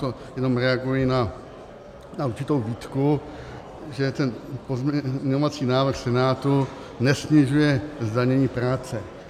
To jenom reaguji na určitou výtku, že ten pozměňovací návrh Senátu nesnižuje zdanění práce.